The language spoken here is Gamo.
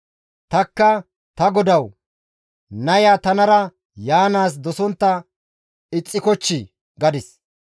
Tanikka ta godawu, ‹Naya tanara yaanaas dosontta ixxikochchii?› gadis.